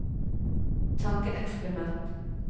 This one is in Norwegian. tankeeksperiment